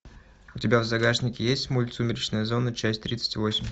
у тебя в загашнике есть мульт сумеречная зона часть тридцать восемь